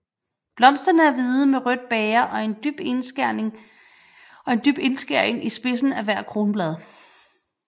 Blomsterne er hvide med rødt bæger og en dyb indskæring i spidsen af hvert kronblad